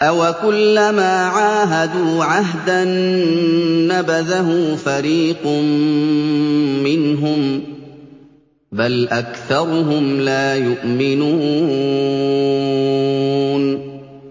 أَوَكُلَّمَا عَاهَدُوا عَهْدًا نَّبَذَهُ فَرِيقٌ مِّنْهُم ۚ بَلْ أَكْثَرُهُمْ لَا يُؤْمِنُونَ